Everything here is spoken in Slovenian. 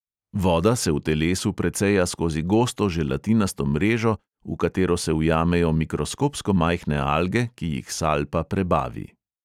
Voda se v telesu preceja skozi gosto želatinasto mrežo, v katero se ujamejo mikroskopsko majhne alge, ki jih salpa prebavi.